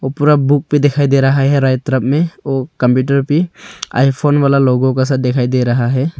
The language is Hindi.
पूरा बुक पे दिखाई दे रहा है यहां राइट तरफ में ओ कंप्यूटर भी आईफोन वाला लोगो का दिखाई दे रहा है।